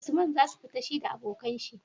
usman zasu fita shida abokan shi?